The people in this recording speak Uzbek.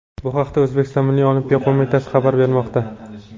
Bu haqda O‘zbekiston Milliy Olimpiya qo‘mitasi xabar bermoqda .